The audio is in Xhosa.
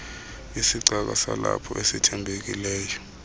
isicaka salapho esithembekileyo